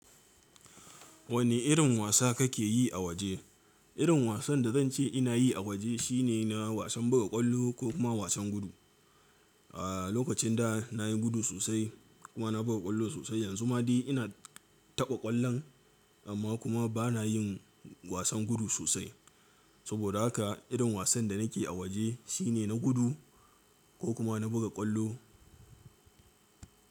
Wane irin wasa kake yi a waje? Irin wasan da zan ce ina yi a waje shine na wasan buga ƙwallo ko kuma wasan gudu. A lokacin da nayi gudu sosai kuma na buga ƙwallo sosai. Yanzu ma dai ina taɓa ƙwallon amma kuma bana yin wasan gudu sosai. Saboda haka irin wasan da nake a waje shine na gudu ko kuma na buga ƙwallo.